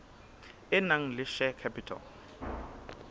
e nang le share capital